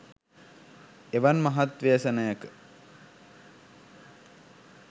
එවන් මහත් ව්‍යසනයක